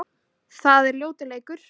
Það er ljótur leikur.